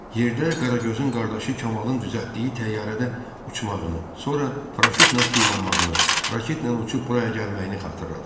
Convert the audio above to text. Yerdə Qragözün qardaşı Kamallın düzəltdiyi təyyarədə uçmağını, sonra paraşütlə tullanmağını, raketlə uçub buraya gəlməyini xatırladı.